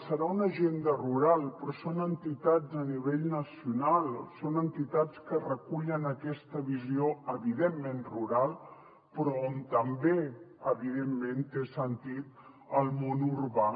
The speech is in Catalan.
serà una agenda rural però són entitats a nivell nacional són entitats que recullen aquesta visió eminentment rural però on també evidentment té sentit el món urbà